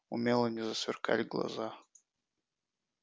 у мелани засверкали глаза